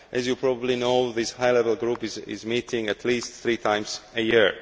As you probably know, this High Level Group meets at least three times a year.